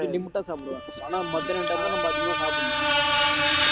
limit ஆ சாப்பிடுவன் ஆனா மத்தியானம் time ல நம்ம அதிகமா சாப்பிடணும்